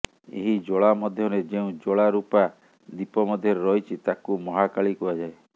ଏହି ଜ୍ୱାଳା ମଧ୍ୟରେ ଯେଉଁ ଜ୍ୱାଳା ରୁପା ଦୀପ ମଧ୍ୟରେ ରହିଛି ତାକୁ ମହାକାଳୀ କୁହାଯାଏ